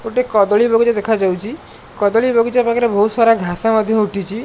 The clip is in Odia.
ଗୋଟେ କଦଳୀ ବଗିଚା ଦେଖାଯାଉଚି କଦଳୀ ବଗିଚା ପାଖରେ ବୋହୁତ୍ ସାରା ଘାସ ମଧ୍ୟ ଉଠିଚି।